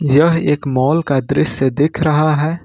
यह एक मॉल का दृश्य दिख रहा है।